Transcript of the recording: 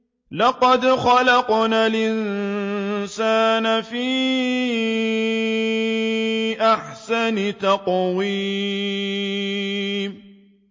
لَقَدْ خَلَقْنَا الْإِنسَانَ فِي أَحْسَنِ تَقْوِيمٍ